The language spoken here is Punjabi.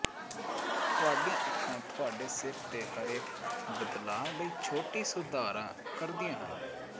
ਤੁਹਾਡੀਆਂ ਅੱਖਾਂ ਤੁਹਾਡੇ ਸਿਰ ਦੇ ਹਰੇਕ ਬਦਲਾਅ ਲਈ ਛੋਟੇ ਸੁਧਾਰਾਂ ਕਰਦੀਆਂ ਹਨ